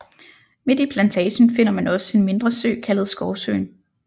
Midt i Plantagen finder man også en mindre sø kaldet Skovsøen